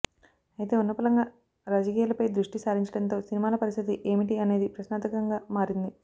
అయితే ఉన్నపళంగా రాజకీయాలపై ద్రుష్టి సారించడంతో సినిమాల పరిస్థితి ఏమిటి అనేది ప్రశ్నార్ధకంగా మారింది